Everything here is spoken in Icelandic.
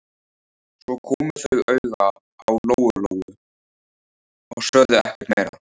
Svo komu þau auga á Lóu-Lóu og sögðu ekkert meira.